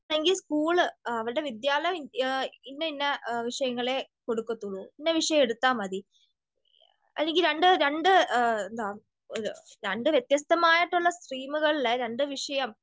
ആണെകിൽ സ്കൂൾ അവരുടെ വിദ്യാലയം ഇന്ന ഇന്ന വിഷയങ്ങളെ കൊടുക്കത്തൊള്ളൂ, ഇന്ന വിഷയം എടുത്താമതി. അല്ലെങ്കി രണ്ട് രണ്ട് രണ്ട് വെത്യസ്തമായിട്ടുള്ള സ്ട്രീമുകളിൽ, രണ്ട് വിഷയം